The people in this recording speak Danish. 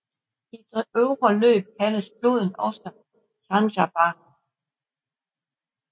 I det øvre løb kaldes floden også Chandrabhaga